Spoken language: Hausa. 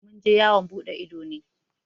Mun je yawan buɗe ido ne.